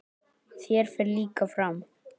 Þér fer líka fram.